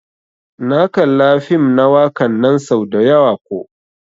Na kalla fim na wakan nan sau dayawa ko.